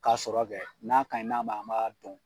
Ka sɔrɔ kɛ n'a kaɲi n'a maɲi an b'a dɔn.